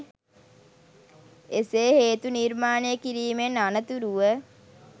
එසේ හේතු නිර්මාණය කිරීමෙන් අනතුරුව